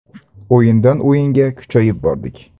O‘yindan o‘yinga kuchayib bordik.